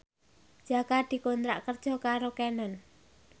Jaka dikontrak kerja karo Canon